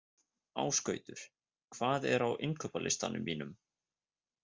Ásgautur, hvað er á innkaupalistanum mínum?